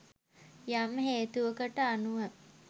යම් හේතුවකට අනුව